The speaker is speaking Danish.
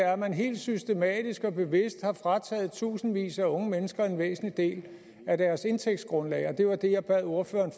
er at man helt systematisk og bevidst har frataget tusindvis af unge mennesker en væsentlig del af deres indtægtsgrundlag det var det jeg bad ordføreren